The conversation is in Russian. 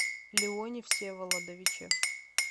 леоне всеволодовиче